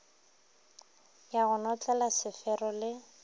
ya go notlela sefero le